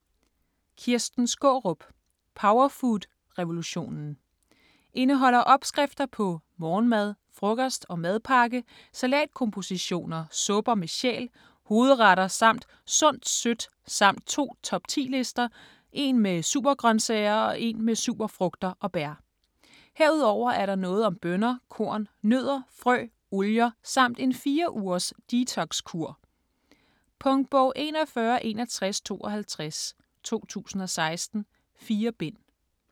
Skaarup, Kirsten: Powerfood revolutionen Indeholder opskrifter på: morgenmad, frokost og madpakke, salatkompositioner, supper med sjæl, hovedretter samt sundt sødt samt to top 10 lister - en med supergrøntsager og en med superfrugter og bær. Herudover er der noget om bønner, korn, nødder, frø, olier, samt en 4- ugers detox-kur. Punktbog 416152 2016. 4 bind.